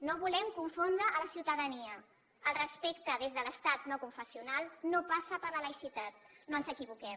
no volem confondre la ciutadania el respecte des de l’estat no confessional no passa per la laïcitat no ens equivoquem